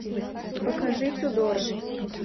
покажи тюдоры